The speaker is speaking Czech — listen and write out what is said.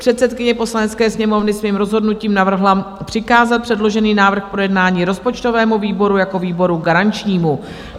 Předsedkyně Poslanecké sněmovny svým rozhodnutím navrhla přikázat předložený návrh k projednání rozpočtovému výboru jako výboru garančnímu.